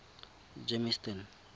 germiston